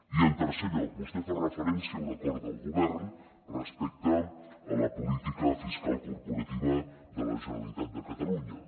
i en tercer lloc vostè fa referència a un acord del govern respecte a la política fiscal corporativa de la generalitat de catalunya